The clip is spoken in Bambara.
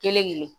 Kelen ne